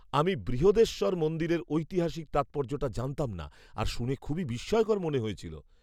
আমি বৃহদেশ্বর মন্দিরের ঐতিহাসিক তাৎপর্যটা জানতাম না আর শুনে খুবই বিস্ময়কর মনে হয়েছিল।